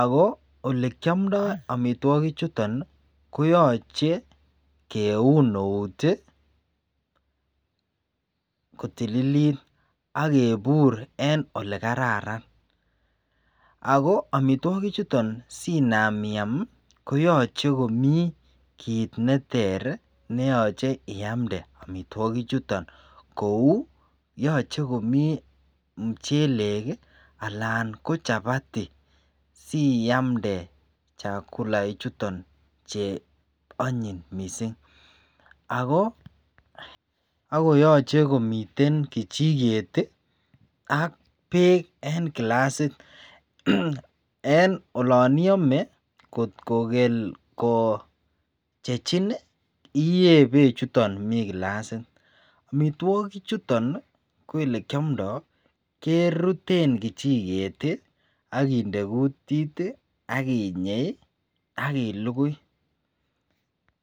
akolekyamdai amitwakik chuton koyache keun nout kotililit agebur en olekararan akoamitwagik chuton Sinam iyam Koyache komii kit neter neyache iyamde amitwagik chuton Kou yache komii mchelek anan ko chapati siyamde chakula ichuton Che anyin mising akoyache komiten kichiket AK bek en kilasit AK olon iyame kotkokel kochechin iye Bech chuton mi kilasit ak olekiamdo keruten kichiket akinde kutit akinye kailugui